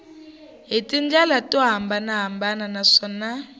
hi tindlela to hambanahambana naswona